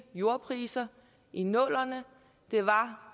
jordpriser i nullerne det var